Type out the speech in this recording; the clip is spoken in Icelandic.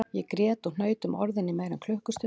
Ég grét og hnaut um orðin í meira en klukkustund